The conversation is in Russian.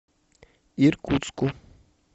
иркутску